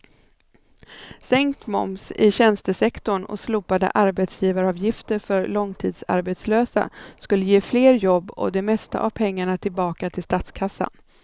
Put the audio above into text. Sänkt moms i tjänstesektorn och slopade arbetsgivaravgifter för långtidsarbetslösa skulle ge fler jobb och det mesta av pengarna tillbaka till statskassan.